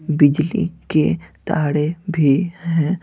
बिजली के ताड़े भी हैं।